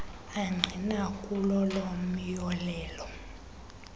angqina kulolo myolelo